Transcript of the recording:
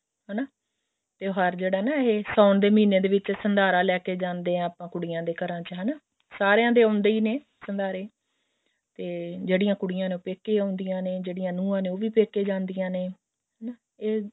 ਹਨਾ ਤਿਉਹਾਰ ਜਿਹੜਾ ਨਾ ਇਹ ਸਾਉਣ ਦੇ ਮਹੀਨੇ ਵਿੱਚ ਸੰਧਾਰਾ ਲੈਕੇ ਜਾਂਦੇ ਹਾਂ ਆਪਾਂ ਕੁੜੀਆਂ ਦੇ ਘਰਾਂ ਚ ਹਨਾ ਸਾਰਿਆਂ ਦੇ ਆਉਂਦੇ ਹੀ ਨੇ ਸੰਧਾਰੇ ਤੇ ਜਿਹੜੀਆਂ ਕੁੜੀਆਂ ਨੇ ਉਹ ਪੇਕੇ ਆਉਂਦੀਆਂ ਨੇ ਜਿਹੜੀਆਂ ਨੁਹਾਂ ਨੇ ਉਹ ਪੇਕੇ ਜਾਂਦੀਆਂ ਨੇ ਹਨਾ ਇਹ